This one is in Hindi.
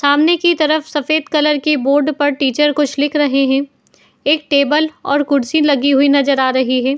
सामने की तरफ सफेद कलर की बोर्ड पर टीचर कुछ लिख रहे है। एक टेबल और कुर्सी लगी हुई नजर आ रही हैं।